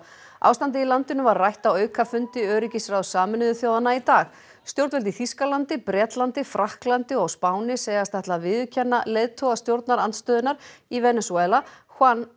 ástandið í landinu var rætt á aukafundi öryggisráðs Sameinuðu þjóðanna í dag stjórnvöld í Þýskalandi Bretlandi Frakklandi og á Spáni segjast ætla að viðurkenna leiðtoga stjórnarandstöðunnar í Venesúela